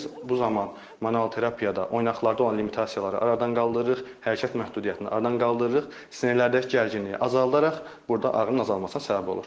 Biz bu zaman manual terapiyada oynaqda olan limitasiyaları aradan qaldırırıq, hərəkət məhdudiyyətini aradan qaldırırıq, sinirlərdəki gərginliyi azaldaraq burda ağrının azalmasına səbəb olur.